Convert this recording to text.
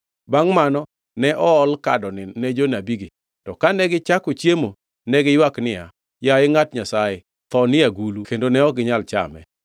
Bangʼ mano, ne ool kadoni ne jonabigi, to kane gichako chiemo, ne giywak niya, “Yaye ngʼat Nyasaye, tho ni e agulu kendo ne ok ginyal chame!”